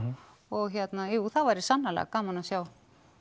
og hérna jú það væri sannarlega gaman að sjá